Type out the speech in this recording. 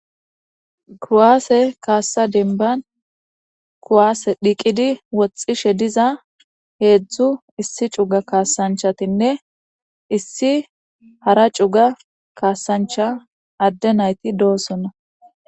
kuwaase kaassa denban kuwaase dhiqidi woxxishe diza heedzdzu issi cuga kaasanchatinne issi hara cuga kaasancha adde nayti doosona